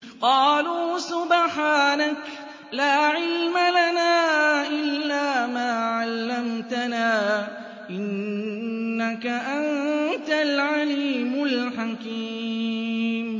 قَالُوا سُبْحَانَكَ لَا عِلْمَ لَنَا إِلَّا مَا عَلَّمْتَنَا ۖ إِنَّكَ أَنتَ الْعَلِيمُ الْحَكِيمُ